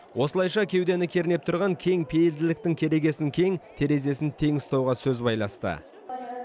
осылайша кеудені кернеп тұрған кеңпейілділіктің керегесін кең терезесін тең ұстауға сөз байласты